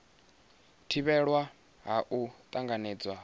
thivhelwa ha u tanganedzwa ha